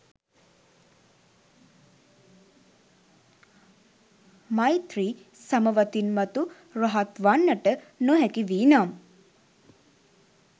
මෛත්‍රී සමවතින් මතු රහත් වන්නට නොහැකි වී නම්